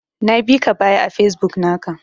Na bika baya a Facebook naka.